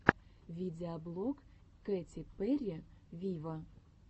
видеоблог кэти перри виво